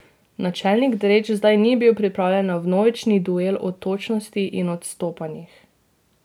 Načelnik Drejč zdaj ni bil pripravljen na vnovični duel o točnosti in odstopanjih.